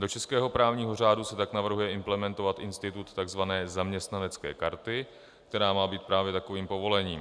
Do českého právního řádu se tak navrhuje implementovat institut tzv. zaměstnanecké karty, která má být právě takovým povolením.